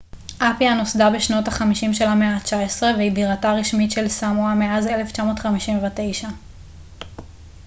אפיה נוסדה בשנות ה 50 של המאה ה 19 והיא בירתה הרשמית של סמואה מאז 1959